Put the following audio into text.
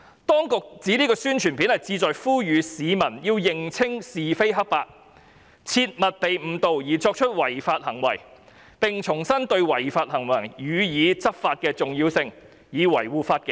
當局指宣傳短片旨在呼籲市民要認清是非黑白，切勿被誤導而作出違法行為，並重申對違法行為予以執法的重要性，以維護法紀。